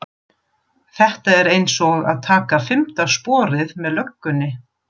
Þetta er einsog að taka fimmta sporið með löggunni